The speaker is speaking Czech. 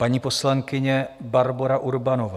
Paní poslankyně Barbora Urbanová.